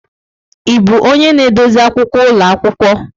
Ị bụ onye na-edozi akwụkwọ ụlọ akwụkwọ?